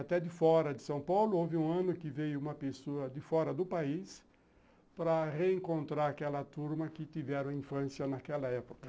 Até de fora de São Paulo houve um ano que veio uma pessoa de fora do país para reencontrar aquela turma que tiveram infância naquela época.